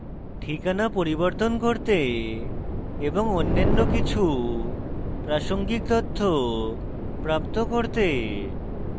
ঠিকানা পরিবর্তন করতে এবং অন্যান্য কিছু প্রাসঙ্গিক তথ্য প্রাপ্ত করতে